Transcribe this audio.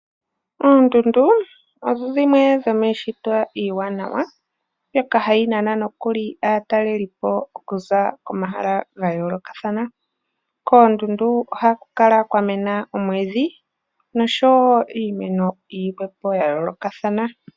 Oondudu odho dhimwe dhomii shito iiwanawa yoka hayi nana nokuli aatalelipo okuza koma hala ga yoolokathana. Koondundu ohaku kala kwa mena omwiidhi nosho wo iimeno yi lwepo ya yoolokathana.